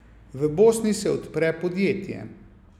V Bosni se odpre podjetje.